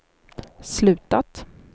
slutat